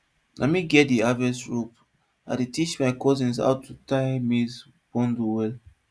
na me get di harvest rope and i dey teach my cousins how to tie maize bundle well